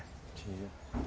Tira.